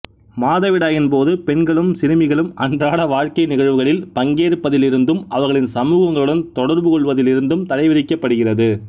மாதவிடாயின் போது பெண்களும் சிறுமிகளும் அன்றாட வாழ்க்கை நிகழ்வுகளில் பங்கேற்பதிலிருந்தும் அவர்களின் சமூகங்களுடன் தொடர்புகொள்வதிலிருந்தும் தடை விதிக்கப்படுகிறது